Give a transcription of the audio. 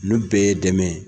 Nun bɛɛ ye dɛmɛ ye.